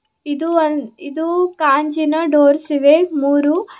ಇದು ಒಂದ್ ಇದು ಕಾಂಜಿನ ಡೋರ್ಸ್ ಇವೆ ಮೂರೂ--